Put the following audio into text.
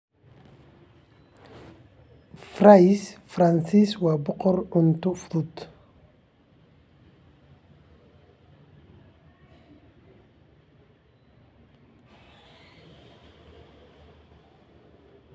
Fries Faransiis waa boqorka cunto fudud.